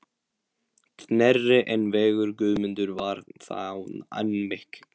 Knerri en vegur Guðmundar var þá enn mikill.